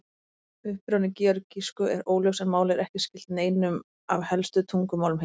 Uppruni georgísku er óljós en málið er ekki skylt neinum af helstu tungumálum heims.